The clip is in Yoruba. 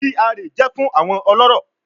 GRA jẹ fun awọn ọlọrọ